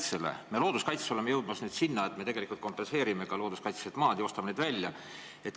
Me oleme looduskaitsega jõudmas nüüd selleni, et me kompenseerime ka looduskaitselised maad ja ostame need välja.